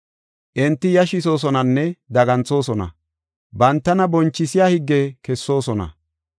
Enti yashisoosonanne daganthoosona; bantana bonchisiya higge kessoosona.